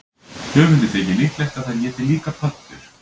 Höfundi þykir líklegt að þær éti líka pöddur.